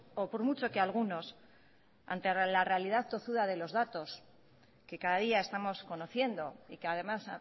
o por mucho que algunos ante la realidad tozuda de los datos que cada día estamos conociendo y que además